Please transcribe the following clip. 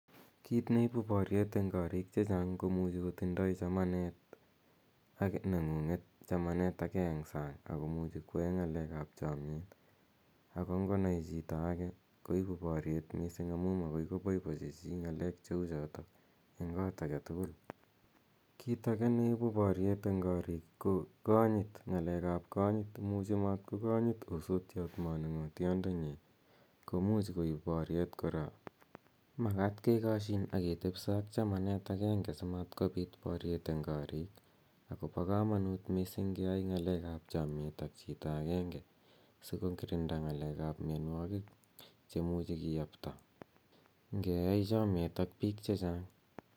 Kiit ne ipu paryet eng' koriik che chang' ko muchi kotindai chamanet neng'ung'et chamanet age eng' sang' ako muchi koyae ng'akek ap chamyet ako ngo nai chito age koipu paryet missing' amu makoi ko poipochi chi ng'alek che u chotok eng' kot age tugul. Kiit age ne ipu paryet eng' koriik ko kanyit, ng'alek ap kanyit. Imuchi matko kanyit osotiot manung'otiandenyi ko much koip paryet kora. Makat kekashin ak ketepisa ak chamanet agenge si matkopit paryet eng' koriik. Ako pa kamanut keyae chamyet ak chito agenge si kokirinda ng'alek ap mianwagik che muchi kiyapta ngeyai chamyet ak piik che chang'.